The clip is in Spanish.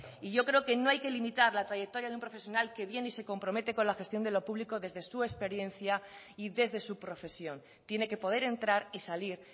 y yo creo que no hay que limitar la trayectoria de un profesional que viene y se compromete con la gestión de lo público desde su experiencia y desde su profesión tiene que poder entrar y salir